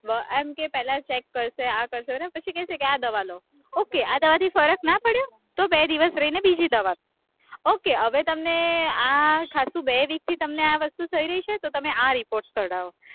એમ કે પેલા check કરશે આ કરશે, પછી કહેશે કે આ દવા લો, ok આ દવાથી ફર્ક ના પડ્યો? તો બે દિવસ રઈને બીજી દવા ok હવે તમને આ થાતું, બે week થી તમને આ વસ્તુ થઇ રહી છે તો તમે આ report કઢાવો